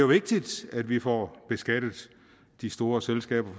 vigtigt at vi får beskattet de store selskaber